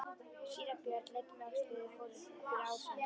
Síra Björn leit um öxl þegar þeir fóru fyrir ásinn.